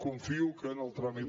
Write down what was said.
confio que en el tràmit